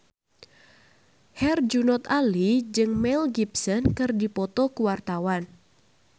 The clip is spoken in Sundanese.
Herjunot Ali jeung Mel Gibson keur dipoto ku wartawan